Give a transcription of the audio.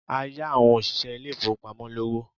A yá àwọn òṣìṣẹ́ ilé ìfowópamọ́ lówó.